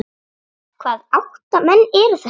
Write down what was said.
Hvaða átta menn eru þetta?